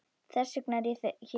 Þess vegna er ég hérna.